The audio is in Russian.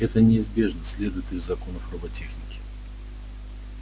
это неизбежно следует из законов роботехники